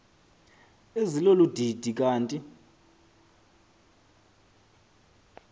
ezilolu didi kanti